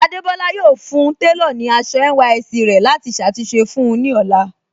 Adébọ́lá yọ̀ọ́ fún tẹlọ̀ ní àṣọ NYSC rẹ̀ láti ṣàtúnṣe fún un ní ọlá.